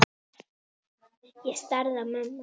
Ég starði á mömmu.